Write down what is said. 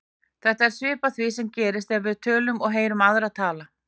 Þetta er svipað því sem gerist þegar við tölum og heyrum aðra tala.